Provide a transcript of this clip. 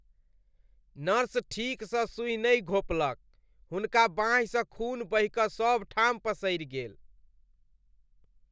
Nurse ठीकसँ सुई नहि घोंपलक, हुनका बाहिंसँ खून बहि कऽ सबठाम पसरि गेल।